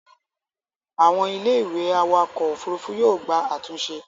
àwọn Ilé ìwé awakọ̀ òfurufú yóò gba àtúnṣe